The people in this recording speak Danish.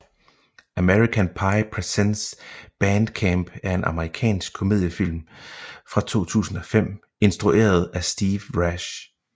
American Pie Presents Band Camp er en amerikansk komediefilm fra 2005 instrueret af Steve Rash